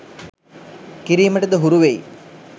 කිරීමටද හුරුවෙයි.